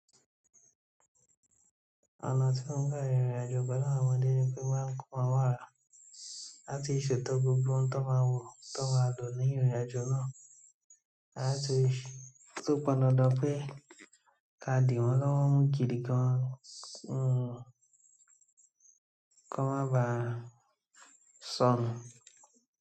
Ọ̀nà tí mo n gbà rìrìnàjò pẹ́lú àwọn ọmọdé ni pé máa ń kọ́ wọn mo àrà láti ṣetọ́ gbogbo tó máa wò tó máa lò ní ìrìnàjò náà. Láti tò pnn dandan pé ká dì wọ́n lọ́wọ́ mú gìdi gan kí wọ́n má bà sọnù.